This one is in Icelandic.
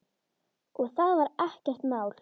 Og það var ekkert mál.